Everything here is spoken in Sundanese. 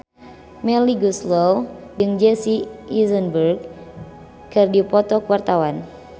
Melly Goeslaw jeung Jesse Eisenberg keur dipoto ku wartawan